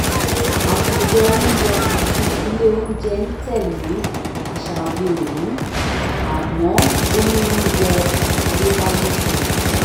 àtòjọ oúnjẹ tuntun ilé oúnjẹ ń tẹ̀lé àṣà òde òní àmọ́ ó ní oúnjẹ àtayébáyé kan